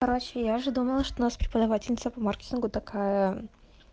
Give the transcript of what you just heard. короче я же думала что нас преподавательница по маркетингу такая